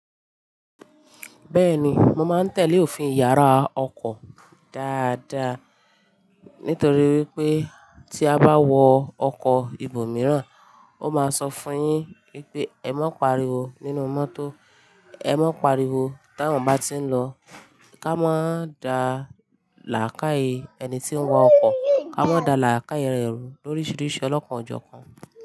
Bẹ́ẹ̀ni, mo máa ń tẹ̀lé òfin yàrá ọkọ̀ dáadáa nítorí wípé tí a bá wọ ọkọ̀ ibòmíràn, ó máa sọ fún yín wípé "ẹ̀ má paríwo nínú mọ́tò, ẹ má paríwo tá awòn bá ti ń lọ, ká má da làákàyè ẹni tí ń wa ọkọ̀, ká má da làákàyè re ru lóríṣiríṣi ọlọ́kàn ọjọ́ kan.